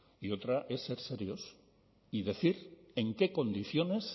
y otra es ser serios y decir en qué condiciones